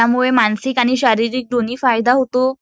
त्यामुळे मानसिक आणि शारीरिक दोन्ही फायदा होतो.